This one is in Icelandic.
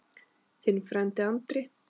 Þinn frændi Andri.